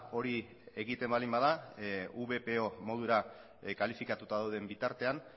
hori egiten baldin bada vpo modura kalifikatuta dauden bitartean